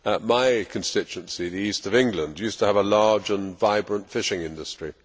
My constituency, the East of England, used to have a large and vibrant fishing industry.